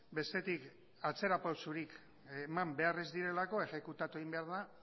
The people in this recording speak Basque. bestetik atzera pausorik eman behar ez direlako exekutatu egin behar da